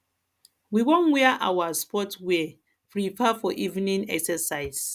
we wan wear our sports wear prepare for evening exercise